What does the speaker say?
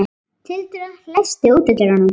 Tildra, læstu útidyrunum.